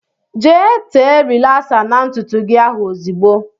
Jee tee rilasa n' ntụtụ gị ahụ ozigbo!!